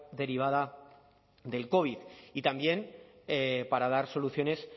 derivada del covid y también para dar soluciones